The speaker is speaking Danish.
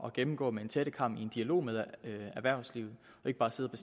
at gennemgå med en tættekam i en dialog med erhvervslivet og ikke bare sidde og